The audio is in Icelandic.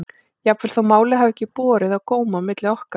Jafnvel þó málið hafi ekki borið á góma á milli okkar.